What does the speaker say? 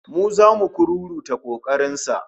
Mu zamu kururuta kokarin sa